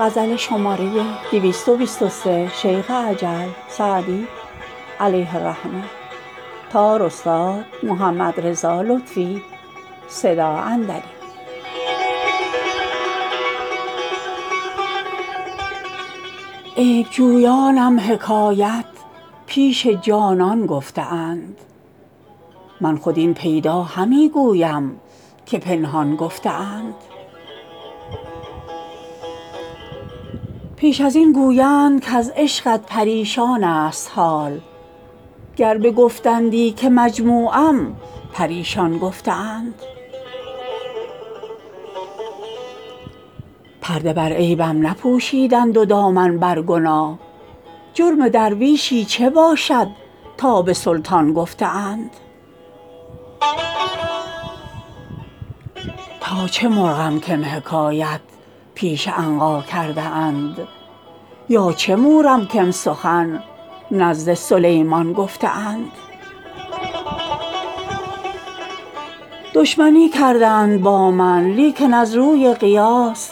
عیب جویانم حکایت پیش جانان گفته اند من خود این پیدا همی گویم که پنهان گفته اند پیش از این گویند کز عشقت پریشان ست حال گر بگفتندی که مجموعم پریشان گفته اند پرده بر عیبم نپوشیدند و دامن بر گناه جرم درویشی چه باشد تا به سلطان گفته اند تا چه مرغم کم حکایت پیش عنقا کرده اند یا چه مورم کم سخن نزد سلیمان گفته اند دشمنی کردند با من لیکن از روی قیاس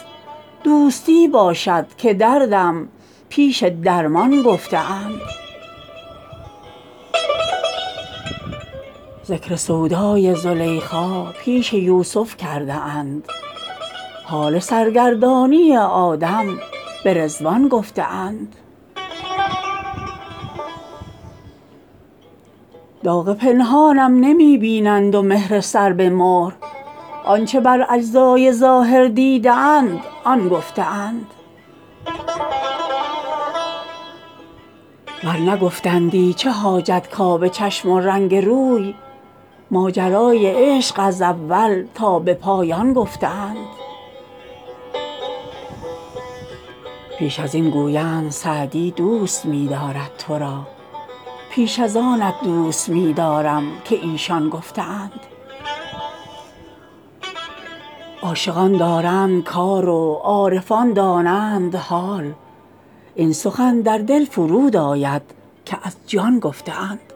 دوستی باشد که دردم پیش درمان گفته اند ذکر سودای زلیخا پیش یوسف کرده اند حال سرگردانی آدم به رضوان گفته اند داغ پنهانم نمی بینند و مهر سر به مهر آن چه بر اجزای ظاهر دیده اند آن گفته اند ور نگفتندی چه حاجت کآب چشم و رنگ روی ماجرای عشق از اول تا به پایان گفته اند پیش از این گویند سعدی دوست می دارد تو را بیش از آنت دوست می دارم که ایشان گفته اند عاشقان دارند کار و عارفان دانند حال این سخن در دل فرود آید که از جان گفته اند